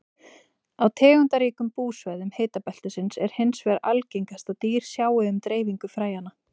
Á tegundaríkum búsvæðum hitabeltisins er hins vegar algengast að dýr sjái um dreifingu fræjanna.